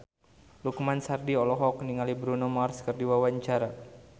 Lukman Sardi olohok ningali Bruno Mars keur diwawancara